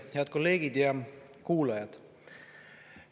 Head kolleegid ja kuulajad!